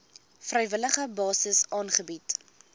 vrywillige basis aangebied